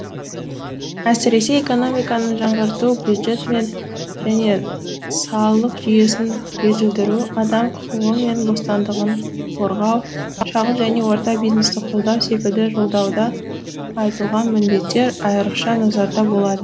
әсіресе экономиканы жаңғырту бюджет мен және салық жүйесін жетілдіру адам құқығы мен бостандығын қорғау шағын және орта бизнесті қолдау секілді жолдауда айтылған міндеттер айрықша назарда болады